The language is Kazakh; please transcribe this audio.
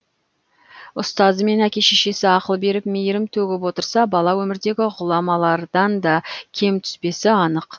ұстазы мен әке шешесі ақыл беріп мейірім төгіп отырса бала өмірдегі ғұламалардан да кем түспесі анық